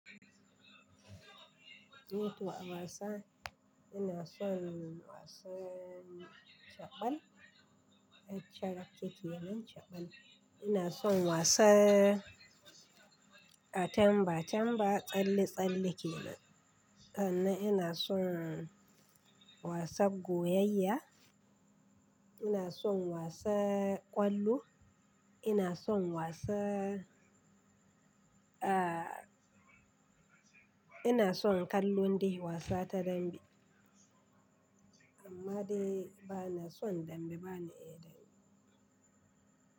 Ni toh a wasa, ina son wasan chabal, yar charake kenan chaɓal. Ina son wasan atamba, tamba tsalle-tsalle kenan. Sannan ina son wasan goyayya, ina son wasan ƙwallo, ina son wasa, ah, ina son ƙallon dai wasa ta dambe. Amma dai bana son dambe, bana iya dambe.